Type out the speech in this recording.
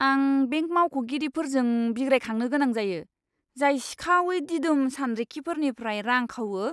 आं बेंक मावख'गिरिफोरजों बिग्रायखांनो गोनां जायो, जाय सिखावै दिदोम सानरिखिफोरनिफ्राय रां खावो!